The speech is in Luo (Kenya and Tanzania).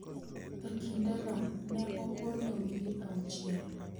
E kindeno ne opondo wige auchiel.